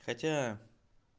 хотя